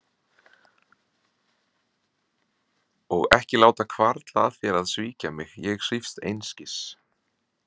Og ekki láta hvarfla að þér að svíkja mig, ég svífst einskis.